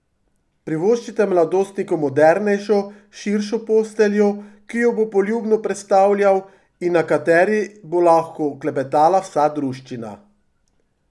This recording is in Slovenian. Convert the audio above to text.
Privoščite mladostniku modernejšo, širšo posteljo, ki jo bo poljubno prestavljal, in na kateri bo lahko klepetala vsa druščina.